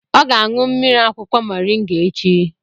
Ọ ga-aṅụ mmiri akwụkwọ Mọrịnga echi